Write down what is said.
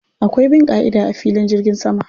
Akwai bin ƙa'ida a filin jirgin sama.